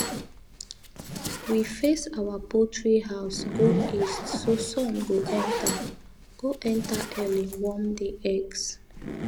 we face our poultry house go east so sun go enter go enter early warm di eggs